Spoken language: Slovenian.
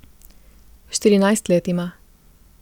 Štirinajst let ima.